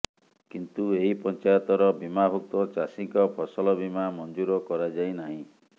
କିନ୍ତୁ ଏହି ପଞ୍ଚାୟତର ବୀମାଭୁକ୍ତ ଚାଷୀଙ୍କ ଫସଲ ବୀମା ମଞ୍ଜୁର କରାଯାଇନାହିଁ